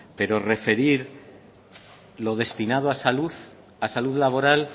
pero referir lo destinado a salud a salud laboral